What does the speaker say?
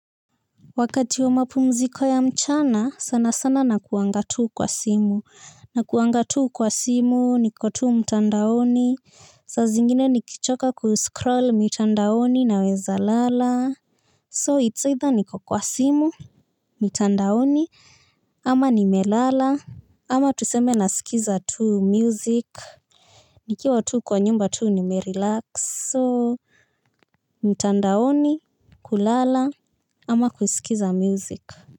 Wakati wa mapumziko ya mchana, sana sana nakuanga tu kwa simu. Nakuanga tu kwa simu, niko tu mtandaoni. Sa zingine nikichoka kuscroll mitandaoni naweza lala. So it's either niko kwa simu, mtandaoni, ama nimelala, ama tuseme nasikiza tuu music. Nikiwa tu kwa nyumba tu nimerelax. So mtandaoni, kulala, ama kusikiza music.